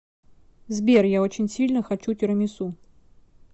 сбер я очень сильно хочу тирамису